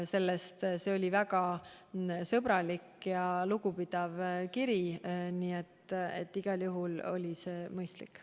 See oli väga sõbralik ja lugupidav kiri, nii et igal juhul oli see mõistlik.